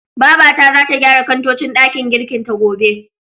Babata zata gyara kantocin ɗakin girkin ta, gobe.